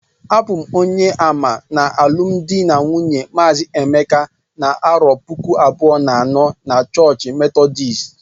abum onye ama na alụmdi na nwunye mazi emeka na arọ puku abụọ na anọ n 'chọọch Methodist